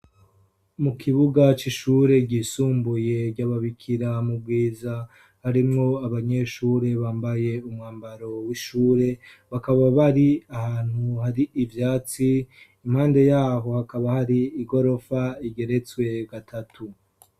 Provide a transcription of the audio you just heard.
mu kibuga cy'ishure ryisumbuye ryababikira mu bwiza harimwo abanyeshure bambaye umwambaro w'ishure bakaba bari ahantu hari ibyatsi impande yaho hakaba hari igorofa igeretswe gatatu